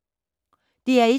DR1